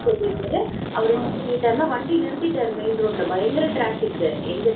அப்படின்னு சொல்லிட்டு அவர் என்ன பண்ணிட்டாருன்னு வண்டிய நடுரோட்டில் நிறுத்திட்டாரு மெயின் ரோட்டுல பயங்கர ட்ராபிக் இருக்கு எங்க தெரியுமா